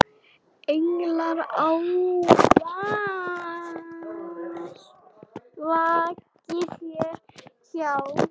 Englar ávallt vaki þér hjá.